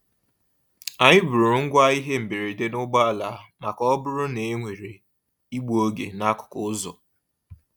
Anyị buuru ngwa ihe mberede n'ụgbọ ala maka ọ bụrụ na e nwere igbu oge n'akụkụ ụzọ.